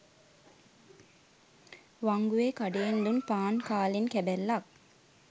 වංගුවේ කඩයෙන් දුන් පාන් කාලෙන් කැබැල්ලක්